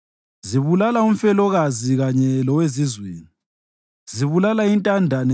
Zibulala umfelokazi kanye lowezizweni; zibulala intandane.